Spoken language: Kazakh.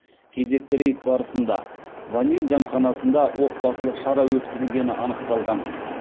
кезекті рейд барысында ваниль дәмханасында отбасылық шара өткізілгені анықталған